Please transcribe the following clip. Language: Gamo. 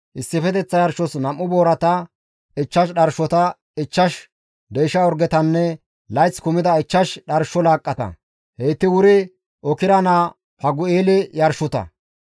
issifeteththa yarshos 2 boorata, 5 dharshota, 5 deysha orgetanne layth kumida 5 dharsho laaqqata; heyti wuri Okra naa Fagu7eele yarshota.